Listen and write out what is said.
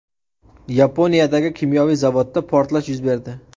Yaponiyadagi kimyoviy zavodda portlash yuz berdi.